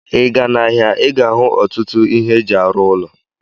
Ị gaa n'ahịa, ị ga-ahụ ọtụtụ ihe eji arụ ụlọ.